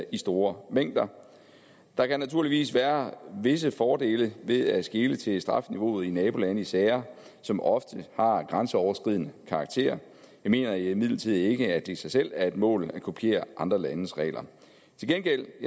i store mængder der kan naturligvis være visse fordele ved at skele til strafniveauet i nabolandene i sager som ofte har grænseoverskridende karakter jeg mener imidlertid ikke at det i sig selv er et mål at kopiere andre landes regler til gengæld